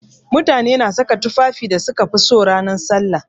Mutane na saka tufafin da suka fi so ranan sallah.